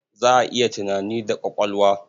Za a yi tunani da ƙwaƙwalwa.